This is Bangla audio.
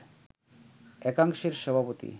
একাংশের সভাপতি